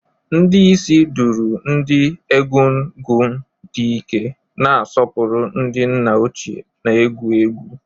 Ndi isii duru ndi Egungun di Ike, na-asọpụrụ ndị nna ochie na egwu egwu.